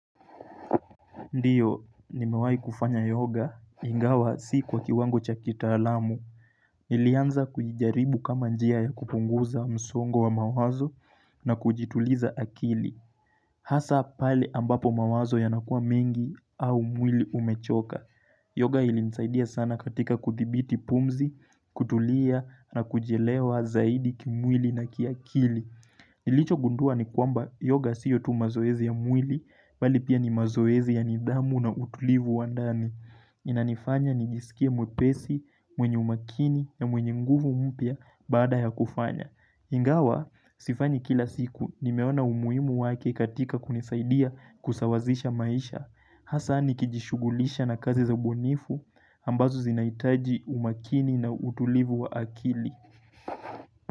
Ndiyo, nimewahi kufanya yoga, ingawa si kwa kiwango cha kitaalamu. Nilianza kuijaribu kama njia ya kupunguza msongo wa mawazo na kujituliza akili. Hasa pale ambapo mawazo yanakuwa mengi au mwili umechoka. Yoga ilinisaidia sana katika kuthibiti pumzi, kutulia na kujielewa zaidi kimwili na kiakili. Nilicho gundua ni kwamba yoga siyo tu mazoezi ya mwili, bali pia ni mazoezi ya nidhamu na utulivu wa ndani. Inanifanya nijisikie mwepesi, mwenye umakini na mwenye nguvu mpya baada ya kufanya. Ingawa, sifanyi kila siku, nimeona umuhimu wake katika kunisaidia kusawazisha maisha. Hasa nikijishugulisha na kazi za ubunifu, ambazo zinahitaji umakini na utulivu wa akili.